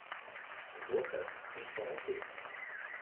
Zopet, boste rekli?